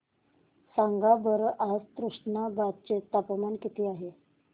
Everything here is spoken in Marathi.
सांगा बरं आज तुष्णाबाद चे तापमान किती आहे